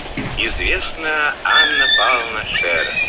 анна павловна шерер